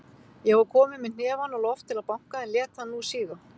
Ég var kominn með hnefann á loft til að banka, en lét hann nú síga.